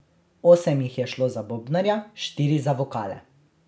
Osem jih je šlo za bobnarja, štiri za vokale.